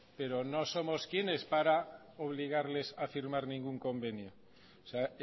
pero no somos quienes para obligarles a firmar ningún convenio o sea